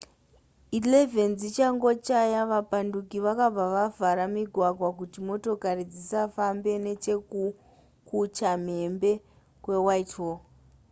11 dzichangochaya vapanduki vakabva vavhara migwagwa kuti motokari dzisafamba nechekukuchamhembe kwewhitehall